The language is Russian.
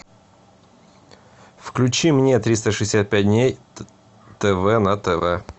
включи мне триста шестьдесят пять дней тв на тв